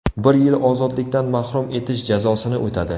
Bir yil ozodlikdan mahrum etish jazosini o‘tadi.